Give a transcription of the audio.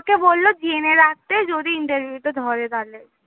আমাকে বললো যেনে রাখতে যদি interview তে ধরে তালে।